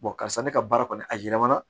karisa ne ka baara kɔni a yɛlɛmana